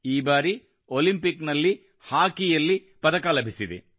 ಈ ಬಾರಿ ಒಲಿಂಪಿಕ್ ನಲ್ಲಿ ಹಾಕಿಯಲ್ಲಿ ಪದಕ ಲಭಿಸಿದೆ